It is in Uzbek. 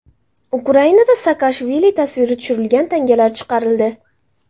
Ukrainada Saakashvili tasviri tushirilgan tangalar chiqarildi.